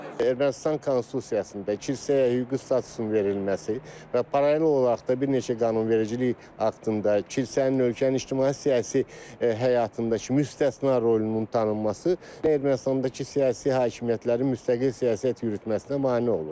Ermənistan konstitusiyasında kilsəyə hüquqi statusun verilməsi və paralel olaraq da bir neçə qanunvericilik aktında kilsənin ölkənin ictimai-siyasi həyatındakı müstəsna rolunun tanınması Ermənistandakı siyasi hakimiyyətlərin müstəqil siyasət yürütməsinə mane olur.